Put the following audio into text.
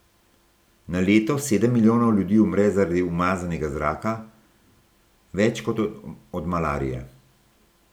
Na leto sedem milijonov ljudi umre zaradi umazanega zraka, več kot od malarije.